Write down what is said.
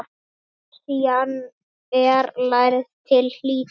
Lexían er lærð til hlítar.